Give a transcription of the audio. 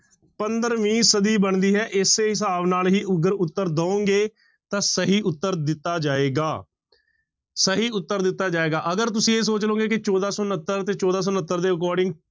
ਪੰਦਰਵੀਂ ਸਦੀ ਬਣਦੀ ਹੈ ਇਸ ਹਿਸਾਬ ਨਾਲ ਹੀ ਅਗਰ ਉੱਤਰ ਦਓਂਗੇ ਤਾਂ ਸਹੀ ਉੱਤਰ ਦਿੱਤਾ ਜਾਏਗਾ ਸਹੀ ਉੱਤਰ ਦਿੱਤਾ ਜਾਏਗਾ, ਅਗਰ ਤੁਸੀਂ ਇਹ ਸੋਚ ਲਓਗੇ ਕਿ ਚੌਦਾਂ ਸੌ ਉਣੱਤਰ ਤੇ ਚੌਦਾਂ ਸੌ ਉਣੱਤਰ ਦੇ according